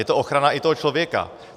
Je to ochrana i toho člověka.